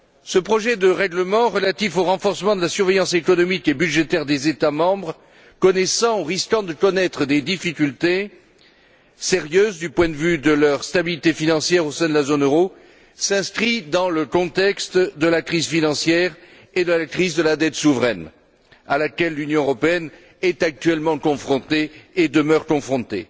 Ce projet de règlement relatif au renforcement de la surveillance économique et budgétaire des États membres connaissant ou risquant de connaître des difficultés sérieuses du point de vue de leur stabilité financière au sein de la zone euro s'inscrit dans le contexte de la crise financière et de la crise de la dette souveraine, auxquelles l'Union européenne est actuellement confrontée et demeure confrontée.